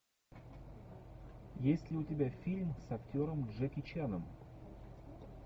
есть ли у тебя фильм с актером джеки чаном